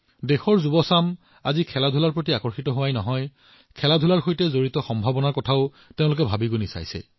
আজি যুৱচামে কেৱল ক্ৰীড়াৰ ফালে চোৱাই নহয় ইয়াৰ সৈতে জড়িত সম্ভাৱনাবোৰো প্ৰত্যক্ষ কৰিছে